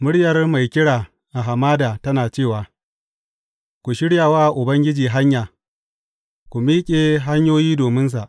muryar mai kira a hamada tana cewa, Ku shirya wa Ubangiji hanya, ku miƙe hanyoyi dominsa.’